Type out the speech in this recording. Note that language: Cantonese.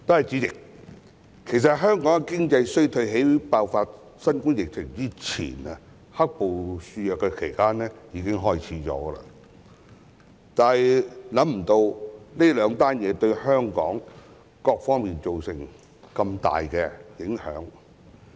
主席，其實香港的經濟衰退在爆發新冠肺炎前、"黑暴"肆虐時已開始，但卻未想到兩者的出現會對香港各方面造成如此大的影響。